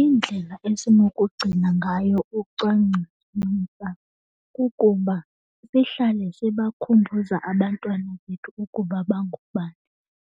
Iindlela esinokugcina ngayo ucwangcisontsapho kukuba sihlale sibakhumbuza abantwana bethu ukuba bangobani.